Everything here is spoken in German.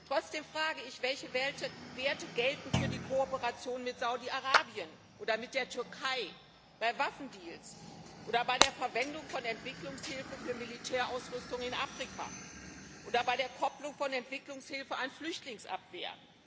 Trotzdem frage ich Welche Werte gelten für die Kooperation mit Saudi Arabien oder mit der Türkei, bei Waffendeals oder bei der Verwendung von Entwicklungshilfe für Militärausrüstung in Afrika oder bei der Kopplung von Entwicklungshilfe an Flüchtlingsabwehr?